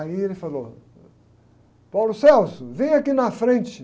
Aí ele falou, vem aqui na frente.